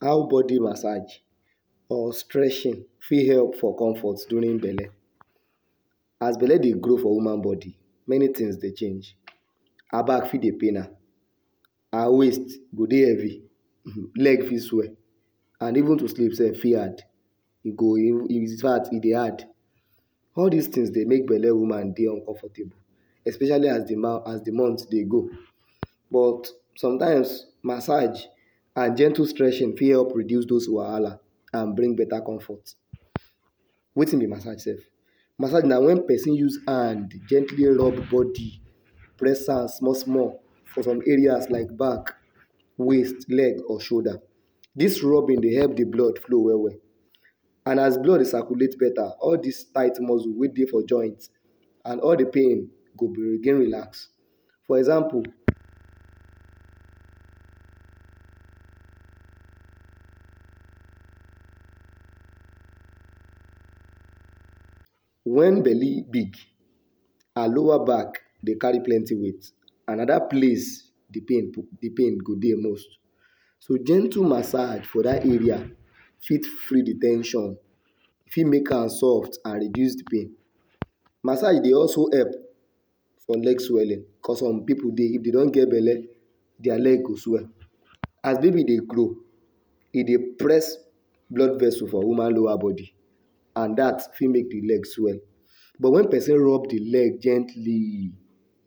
How body massage or stretching fit help for comfort during belle As belle Dey grow for woman body many things Dey change her back fit Dey pain am her waist go Dey heavy leg fit swell and even to sleep self fit hard e go in fact e Dey hard all dis things Dey make belle woman feel uncomfortable especially as de month Dey go but sometimes massage and gentle stretching fit help reduce dose wahala and bring better comfort wetin be massege sef Massege na when pesin use hand gently rub body press am small small for some areas like back waist leg or shoulder dis rubbing Dey help de blood flow well well and as blood Dey circulate better all dis tight mussels wey Dey for joint and all de pain go Dey relax for example when belle big her lower back Dey carry plenty weight and na dat place de pain go Dey most so gentle massege for dat area fit free de ten sion fit make am soft and reduce de pain massege Dey also help for leg swelling because some pipu if dem don get belle dia leg go swell as baby Dey grow e Dey press blood vessel for woman lower body and dat fit make de leg swell but when person rub de leg gently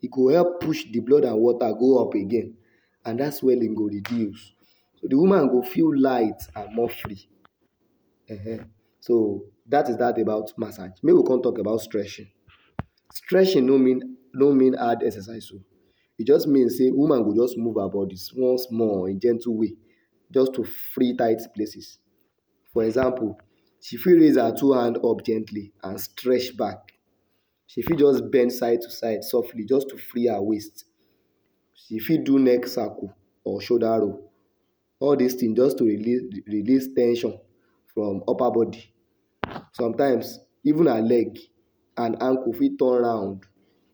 e go help push de blood and water go up again and dat swelling go reduce so de woman go feel light and more free um so dat is dat about massege Make come talk about stretching stretching no mean hard exercise oh e jus mean say woman go jus move her body small small in a gentle way jus to free tight places for example she fit raise her two hands us gently and stretch back she fit just bend side to side softly just to free her waist she fit do neck circle or shoulder rope all dis things just to release ten sion from upper body sometimes even her leg and ankle fit turn round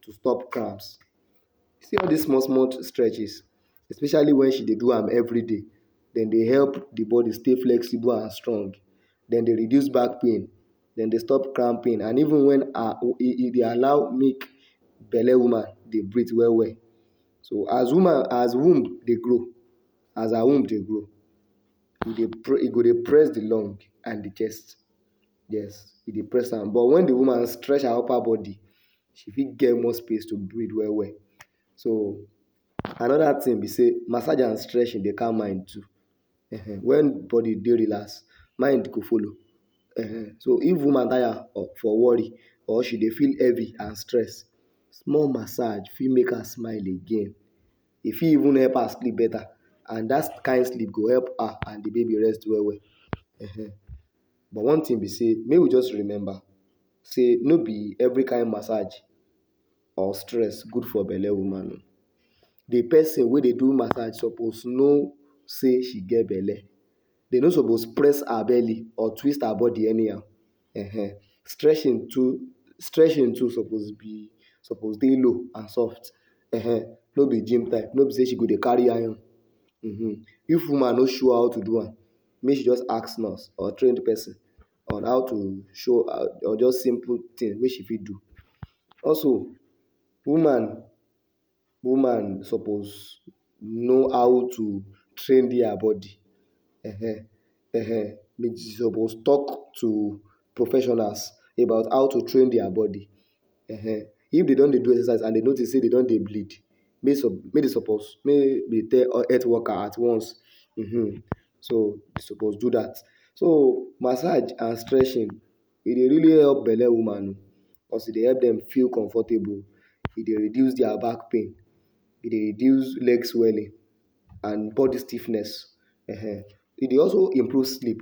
to stop cramps see all dis small small stretches especially when she Dey do am every day dem Dey help de body stay flexible and strong dem Dey reduce back pain dem Dey stop cramp pain and even when her e Dey allow make belle woman dey breath well well so as woman as her womb dey grow as her womb dey grow e dey pre e go dey press de lung and de chest yes e dey press am but when de woman stretch her upper body she fit get more space to breathe well well so another ting be sey massege and stretching Dey calm mind too um when body dey dey relaxed mind go follow [um} so if woman tire for worry or if she Dey feel heavy and stressed small massege fit make her smile again e fit even help her sleep better and dat kin sleep go help her and de baby rest well well um but one tin be sey make we just remember no be every kin massege or stretch good for belle woman oo de pesin wey Dey do massege suppose know say she get belle dem no suppose press her belly or twist her body anyhow um stretching to stretching too suppose Dey low and soft um no be gym type no be sey she go Dey carry heavy iron if woman no sure how to do am make she jus ask nurse or trained pesin on how to show jus simple tin wey she fit do also woman suppose know how to train dia body um she suppose talk to professionals about how to train dia body um if dem don Dey do exercise and Dey notice sey dem don Dey bleed make dem tell health worker at once um so dem suppose do dat so massege and stretching e really help belle woman um because e Dey help dem feel comfortable e dey reduce dia back pain e Dey reduce leg swelling and body stiffness um e Dey also improve sleep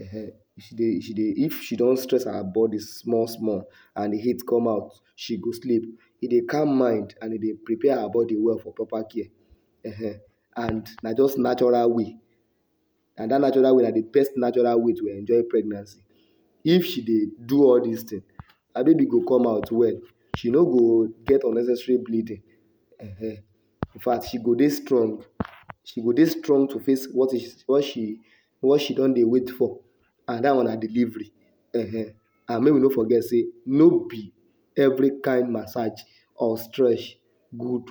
um she dey she Dey if she don stress her body small small and heat come out she go sleep e dey calm mind and e dey prepare her body well for proper care um and na jus natural way and dat natural way na de best natural way to enjoy pregnancy if she Dey do all this thing her baby go come out well she no go get unnecessary bleeding um in fact she go Dey strong she go Dey strong to face what she don Dey wait for dat one na delivery um and make we no forget sey no be every kin massege or stretch good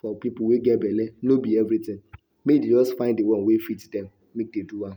for pipu wey get belle no be everything make dem jus find de one wey fit dem make dem do am